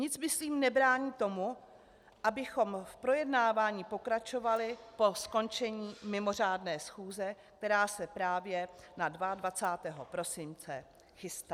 Nic myslím nebrání tomu, abychom v projednávání pokračovali po skončení mimořádné schůze, která se právě na 22. prosince chystá.